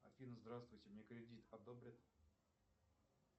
афина здравствуйте мне кредит одобрят